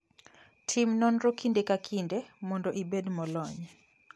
Tim nonro kinde ka kinde mondo ibed molony.